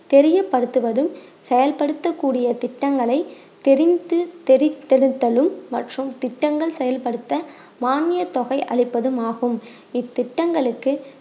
தெரியப்படுத்துவதும் செயல்படுத்தக் கூடிய திட்டங்களை தெரிந்து தெரித்திருத்தலும் மற்றும் திட்டங்கள் செயல்படுத்த மானிய தொகை அளிப்பதுமாகும் இத்திட்டங்களுக்கு